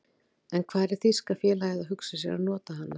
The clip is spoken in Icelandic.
En hvar er þýska félagið að hugsa sér að nota hana?